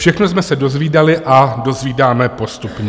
Všechno jsme se dozvídali a dozvídáme postupně.